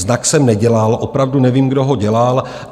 Znak jsem nedělal, opravdu nevím, kdo ho dělal.